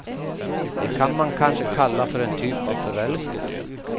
Det kan man kanske kalla för en typ av förälskelse.